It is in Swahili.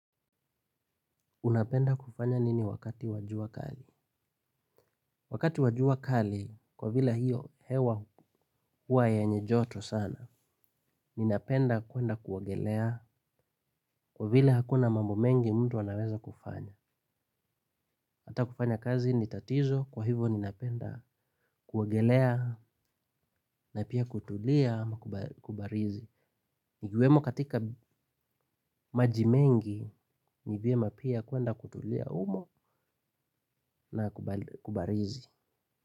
Unapenda kufanya nini wakati wajua kali? Wakati wajua kali, kwa vile hio, hewa huwa yenye joto sana, ninapenda kuenda kuogelea, kwa vile hakuna mambo mengi mtu anaweza kufanya. Hata kufanya kazi ni tatizo, kwa hivo ninapenda kuogelea, na pia kutulia, kubarizi. Nigiwemo katika majimengi, nivyema pia kuenda kutulia umo, na kubarizi.